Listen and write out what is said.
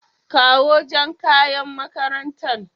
kawo Jan ƙayan maƙarantan.